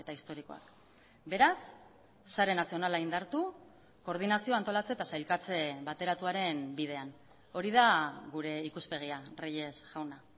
historikoak beraz sare nazionala indartu koordinazio antolatze eta sailkatze bateratuaren bidean hori da gure ikuspegia reyes jauna